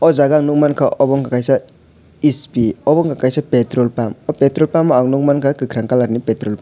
o jaga ang nogmang kha obo wngkha kaisa hp obo wngkha kaisa petrol pump o petrol pump ang nogmangkha kakorang colour in petrol pump.